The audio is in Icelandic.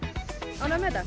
ánægður með þetta